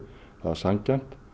það er sanngjarnt